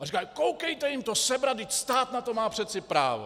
A říkají: Koukejte jim to sebrat, vždyť stát na to má přece právo!